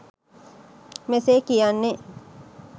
මෙසේ කියන්නේ.